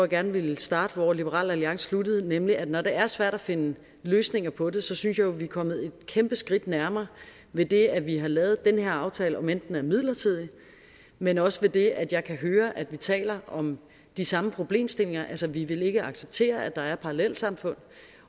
gerne vil starte og liberal alliance sluttede nemlig at når det er svært at finde løsninger på det synes jeg jo vi er kommet kæmpe skridt nærmere ved det at vi har lavet den her aftale om end den er midlertidig men også ved det at jeg kan høre at vi taler om de samme problemstillinger altså vi vil ikke acceptere at der er parallelsamfund